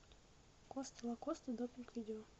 коста лакоста допинг видео